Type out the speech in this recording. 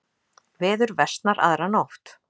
Veður versnar aðra nótt